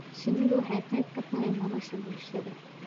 Shinnidu waxay qayb ka tahay nolosha bulshada.